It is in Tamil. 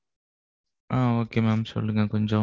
ஆஹ் okay mam சொல்லுங்க கொஞ்சம்.